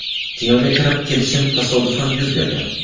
Kinoga kirib kelishim tasodifan yuz bergan.